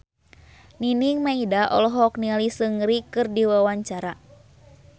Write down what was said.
Nining Meida olohok ningali Seungri keur diwawancara